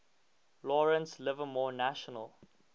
lawrence livermore national